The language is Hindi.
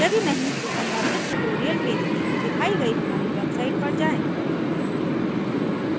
यदि नहीं तो सम्बंधित ट्यूटोरियल के लिए दिखाई गयी हमारी वेबसाइट पर जाएँ